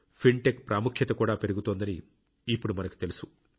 fintech ప్రాముఖ్యత చాలా పెరుగుతోందని ఇప్పుడు మనకు తెలుసు